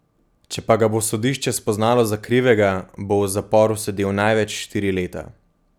Če pa ga bo sodišče spoznalo za krivega, bo v zaporu sedel največ štiri leta.